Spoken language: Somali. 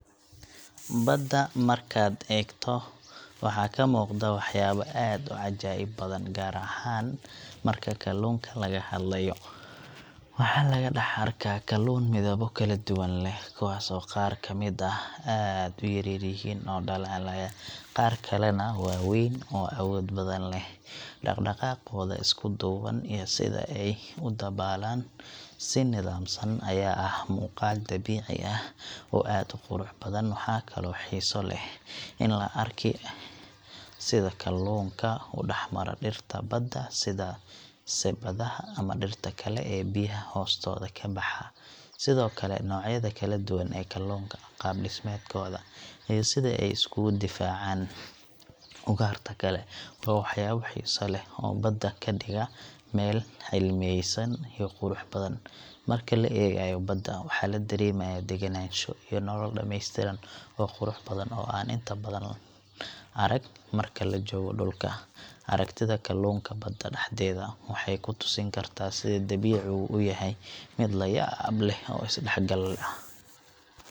Badda markaad eegto, waxaa ka muuqda waxyaabo aad u cajaa'ib badan, gaar ahaan marka kalluunka laga hadlayo. Waxaa laga dhex arki karaa kalluun midabbo kala duwan leh, kuwaas oo qaar ka mid ah aad u yaryihiin oo dhalaalaya, qaar kalena waa waaweyn oo awood badan leh. Dhaqdhaqaaqooda isku duuban iyo sida ay u dabaalan si nidaamsan ayaa ah muuqaal dabiici ah oo aad u qurux badan. Waxaa kaloo xiiso leh in la arko sida kalluunka u dhex mara dhirta badda sida sebadaha ama dhirta kale ee biyaha hoostooda ka baxa. Sidoo kale, noocyada kala duwan ee kalluunka, qaab-dhismeedkooda, iyo sida ay isugu difaacaan ugaarta kale waa waxyaabo xiiso leh oo badda ka dhiga meel cilmiyeysan iyo qurux badan. Marka la eegayo badda, waxaa la dareemayaa degenaansho, iyo nolol dhameystiran oo qurux badan oo aan inta badan arag marka la joogo dhulka. Aragtida kalluunka badda dhexdeeda waxay ku tusin kartaa sida dabiicigu u yahay mid la yaab leh oo is dhexgal ah.